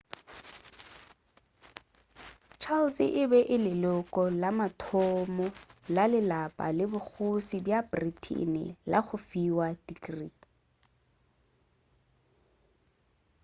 charles e be e le leloko la mathomo la lelapa la bokgoši bja britain la go fiwa tikrii